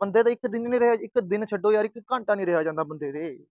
ਬੰਦੇ ਤੋਂ ਇੱਕ ਦਿਨ, ਇੱਕ ਦਿਨ ਛੱਡੋ ਇੱਕ ਘੰਟਾ ਨਹੀਂ ਰਿਹਾ ਜਾਂਦਾ ਬੰਦੇ ਤੋਂ